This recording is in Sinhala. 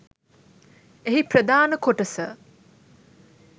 එහි ප්‍රධාන කොටස